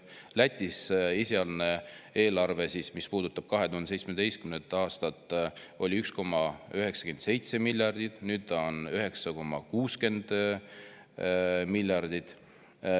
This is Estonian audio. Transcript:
Lätis nägi ette esialgne eelarve, mis puudutas 2017. aastat, 1,97 miljardit, nüüd on see 9,60 miljardit.